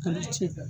Ala cɛ